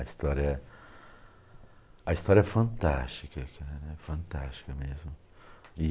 A história a história é fantástica cara, fantástica mesmo. E